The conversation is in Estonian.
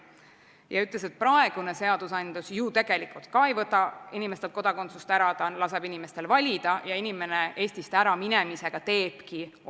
Ta ütles, et praegune seadusandlus ju tegelikult ka ei võta inimestelt kodakondsust ära, ta laseb inimestel valida ja inimene teebki Eestist äraminemisega oma valiku.